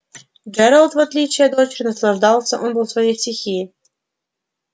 джералд в отличие от дочери наслаждался он был в своей стихии